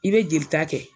I bɛ jeli ta kɛ